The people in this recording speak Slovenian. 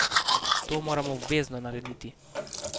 To moramo obvezno narediti.